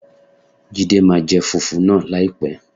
Jídé máa jẹ fùfú náà láìpẹ́.